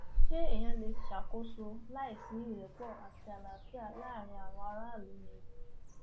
ṣé èèyàn lè ṣàkóso láì sí ìrẹpọ àti àlàáfíà láàrin àwọn aráàlú ni